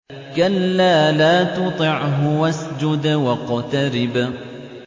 كَلَّا لَا تُطِعْهُ وَاسْجُدْ وَاقْتَرِب ۩